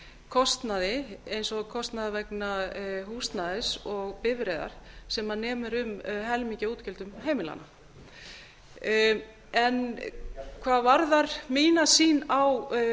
kostnaði eins og kostnaði vegna húsnæðis og bifreiðar sem nemur um helmingi af útgjöldum heimilanna hvað varðar mína sýn á